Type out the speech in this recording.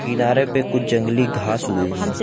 किनारे पे कुछ जंगली घास उगी हुई है।